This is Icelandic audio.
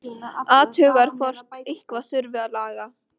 Athugar hvort eitthvað þurfi að laga.